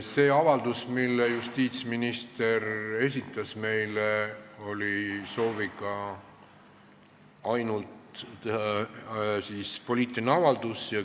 See taotlus, mille justiitsminister meile esitas, oli teha ainult poliitiline avaldus.